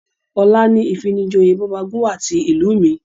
Ọ̀la ni ìfijoyè bọ́bagúnwà ti ìlú mi